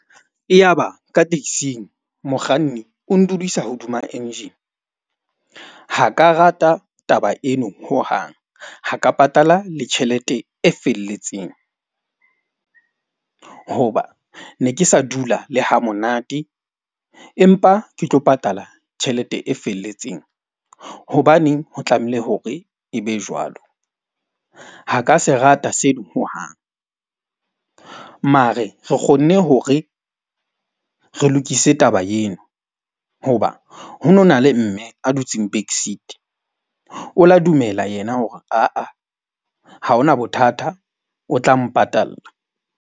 E ya ba ka taxi-ng, mokganni o ndudisa hodima engine. Ha ka rata taba eno hohang ha ka patala le tjhelete e felletseng. Hoba ne ke sa dula le hamonate, empa ke tlo patala tjhelete e felletseng. Hobaneng ho tlamehile hore e be jwalo? Ha ka se rata seno hohang mare re kgonne hore re lokise taba eno hoba ho no na le mme a dutseng back seat. O la dumela yena hore, aa ha hona bothata o tla mpatalla.